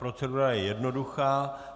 Procedura je jednoduchá.